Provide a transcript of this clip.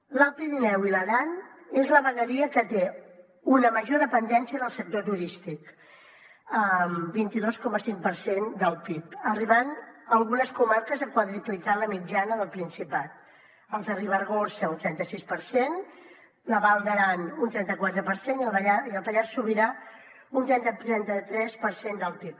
l’alt pirineu i l’aran és la vegueria que té una major dependència del sector turístic vint dos coma cinc per cent del pib arribant algunes comarques a quadruplicar la mitjana del principat el de ribagorça un trenta sis per cent la val d’aran un trenta quatre per cent i el pallars sobirà un trenta tres per cent del pib